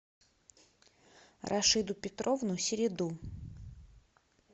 рашиду петровну середу